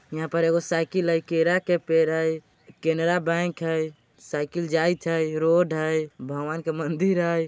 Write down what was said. यहाँ पर एगो साइकिल हइ। केरा के पेड़ हइ। केनरा बैंक हइ। साइकिल जाइत हइ रोड हइ। भगवान के मंदिर हइ।